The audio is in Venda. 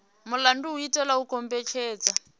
mulandu u itela u kombetshedza